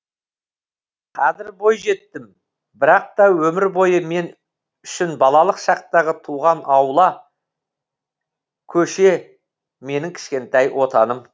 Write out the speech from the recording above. қазір бойжеттім бірақ та өмір бойы мен үшін балалық шақтағы туған аула көше менің кішкентай отаным